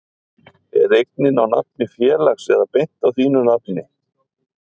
Er eignin á nafni félags eða beint á þínu nafni?